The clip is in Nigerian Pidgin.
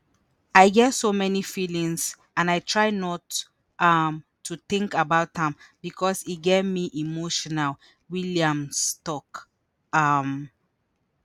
“i get so many feelings and i try not um to tink about am becos e get me emotional" williams tok. um